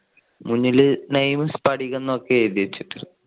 മുന്നില് name സ്‌ഫടികം എന്നൊക്കെ ആണ് എഴുതി വെച്ചേക്കുന്നേ.